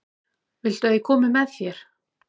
Viltu að ég komi með þér?